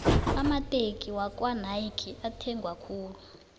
amateki wakwanayki ethengwa khulu